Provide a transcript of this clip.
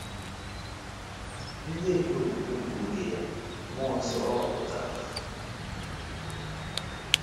Ndị ndu okpukpe nke oge ya, mmụọ nsọ ọ họpụtara ha?